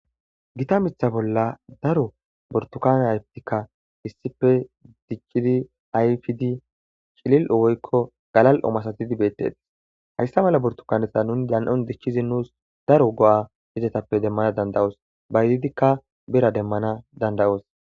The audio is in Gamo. Gitta mitha bolla burutukane ayifeti darro dicidin ayifidi cili'li'o galali'o massatidi betssi hayssa mala burtukanita nunu danini'on dichid nussi go'o demanasi danidayosi bayizidika birra demasasi danidayosi